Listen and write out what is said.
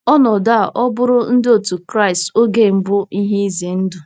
Ọnọdụ a ọ̀ bụụrụ Ndị Otú Kristi oge mbụ ihe ize ndụ?